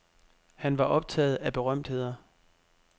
Han var optaget af berømtheder.